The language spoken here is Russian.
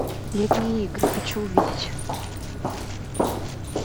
летние игры хочу увидеть